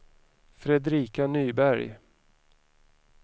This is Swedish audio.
Fredrika Nyberg